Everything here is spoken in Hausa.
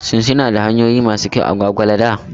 Shin suna da hanyoyi masu kyau a Gwagwalada?